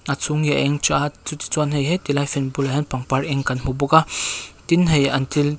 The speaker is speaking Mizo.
a chhung hi a eng tha a chuti chuan hei he ti lai fan bulah hian pangpar eng kan hmu bawk a tin hei an thil--